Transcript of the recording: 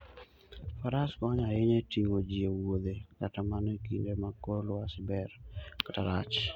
Faras konyo ahinya e ting'o ji e wuodhe kata mana e kinde ma kor lwasi ber kata rach.